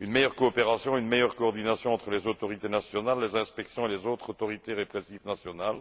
une meilleure coopération et une meilleure coordination entre les autorités nationales, les inspections et les autres autorités répressives nationales,